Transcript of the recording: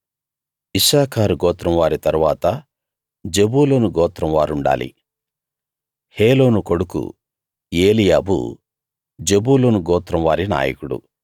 ఇశ్శాఖారు గోత్రం వారి తరువాత జెబూలూను గోత్రం వారుండాలి హేలోను కొడుకు ఏలీయాబు జెబూలూను గోత్రం వారి నాయకుడు